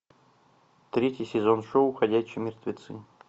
третий сезон шоу ходячие мертвецы